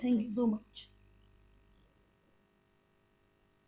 Thank you so much